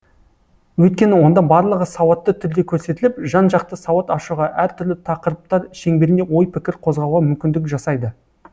өйткені онда барлығы сауатты түрде көрсетіліп жан жақты сауат ашуға әртүрлі тақырыптар шеңберінде ой пікір қозғауға мүмкіндік жасайды